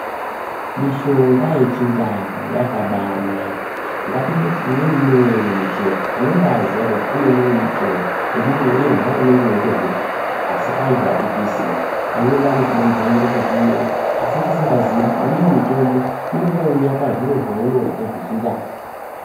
Mishonga yechindau yakabanaka ngatimboti imweni inouya iri muchero tinobaziya kuti michero weirya unenge weizvirapa asi antu atizvizivi anweni acho tinomhanyira kuzvirungu asi tisingazivi kuti imweni mitombo inongouya pazviro zvaunorya zvechindau.